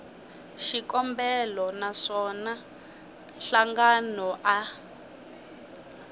xikombelo na swona nhlangano a